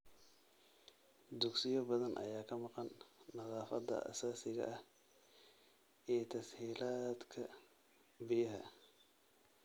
Dugsiyo badan ayaa ka maqan nadaafadda aasaasiga ah iyo tas-hiilaadka biyaha.